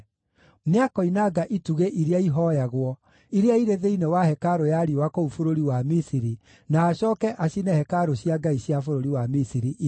Nĩakoinanga itugĩ iria ihooyagwo, iria irĩ thĩinĩ wa hekarũ ya riũa kũu bũrũri wa Misiri, na acooke acine hekarũ cia ngai cia bũrũri wa Misiri ithire.’ ”